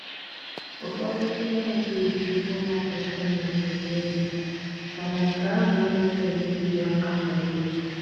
Ụfọdụ ndị anaghị eji ụlọ akụ ịntanetị eme ihe mana nke ahụ anaghị enyere gị aka ma ọlị.